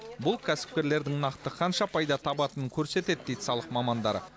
бұл кәсіпкерлердің нақты қанша пайда табатынын көрсетеді дейді салық мамандары